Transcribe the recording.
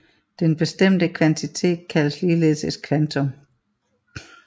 Den bestemte kvantitet kaldes ligeledes et kvantum